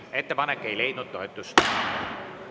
Ettepanek ei leidnud toetust.